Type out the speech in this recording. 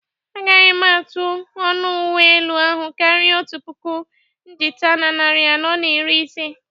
Agaghị m atụ ọnụ uwe elu ahụ karịa otu puku najta na narị anọ na iri ise